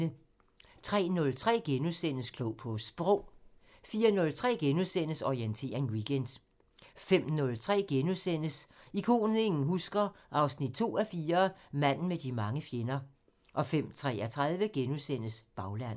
03:03: Klog på Sprog * 04:03: Orientering Weekend * 05:03: Ikonet ingen husker – 2:4 Manden med de mange fjender * 05:33: Baglandet *